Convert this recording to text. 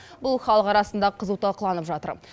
бұл халық арасында қызу талқыланып жатыр